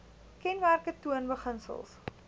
kenmerke toon beginsels